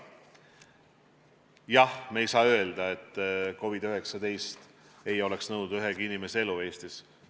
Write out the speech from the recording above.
Jah, me ei saa öelda, et COVID-19 ei oleks nõudnud ühegi inimese elu Eestis.